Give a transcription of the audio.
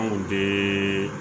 Anw bɛ